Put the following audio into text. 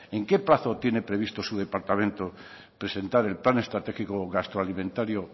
en qué plazo tiene previsto su departamento presentar el plan esstratégico gastroalimentario